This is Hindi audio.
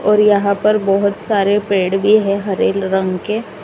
और यहाँ पर बहोत सारे पेड़ भी है हरे रंग के।